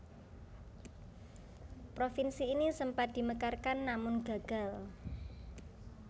Provinsi ini sempat dimekarkan namun gagal